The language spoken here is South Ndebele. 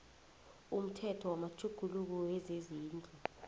umthetho wamatjhuguluko wezezindlu